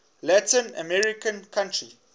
latin american country